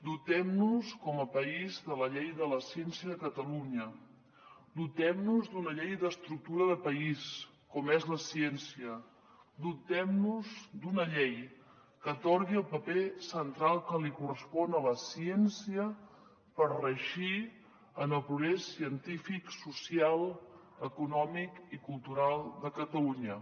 dotem nos com a país de la llei de la ciència de catalunya dotem nos d’una llei d’estructura de país com és la ciència dotem nos d’una llei que atorgui el paper central que correspon a la ciència per reeixir en el progrés científic social econòmic i cultural de catalunya